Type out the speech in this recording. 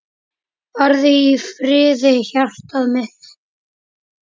Farðu í friði hjartað mitt.